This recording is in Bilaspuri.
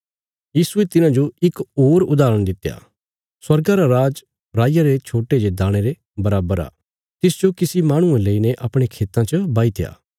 यीशुये तिन्हांजो इक होर उदाहरण दित्या स्वर्गा रा राज राईया रे छोट्टे जे दाणे रे बराबर आ तिसजो किसी माहणुये लेईने अपणे खेतां च बाहीत्या